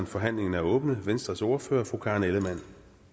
forhandlingen er åbnet venstres ordfører fru karen ellemann